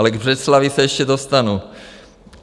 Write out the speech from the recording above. Ale k Břeclavi se ještě dostanu.